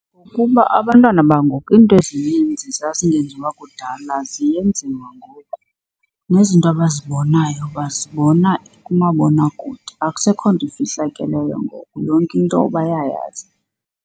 Kuba abantwana bangoku iinto ezininzi zazingenziwa kudala ziyenziwa ngoku nezinto abazibonayo bazibona kumabonakude. Akusekho nto efihlakeleyo ngoku, yonke into bayayazi.